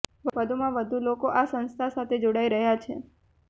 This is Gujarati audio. વધુમાં વધુ લોકો આ સંસ્થા સાથે જોડાઈ રહ્યાં છે